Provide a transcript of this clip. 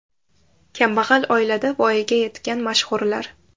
Kambag‘al oilada voyaga yetgan mashhurlar .